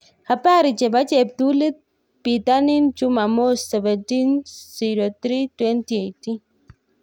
Habari chebo cheptulit bitonin chumamos 17.03.2018